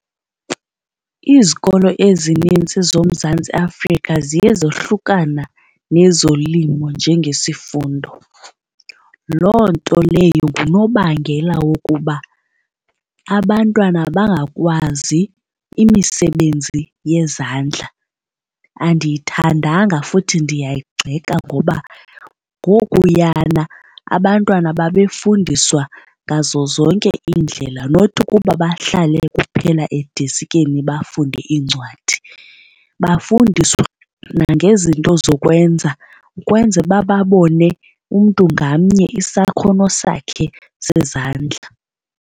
Izikolo ezininzi zoMzantsi Afrika ziye zohlukana nezolimo njengesifundo. Loo nto leyo ngunobangela wokuba abantwana bangakwazi imisebenzi yezandla. Andiyithandanga futhi ndiyayigxeka ngoba ngokuyana abantwana babefundiswa ngazo zonke iindlela not ukuba bahlale kuphela edesikeni bafunde iincwadi. Bafundiswa nangezinto zokwenza ukwenza uba babone umntu ngamnye isakhono sakhe sezandla.